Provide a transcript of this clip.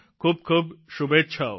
ખૂબખૂબ શુભેચ્છાઓ